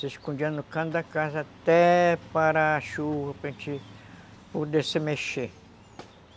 Se escondia no canto da casa até parar a chuva para gente poder se mexer.